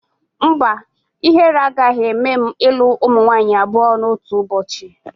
Mba, ihere agaghị eme m ilu ụmụ nwaanyị abụọ n'otu ụbọchị